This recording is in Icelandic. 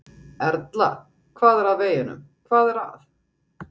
Erla: Hvað er að veginum, hvað er að?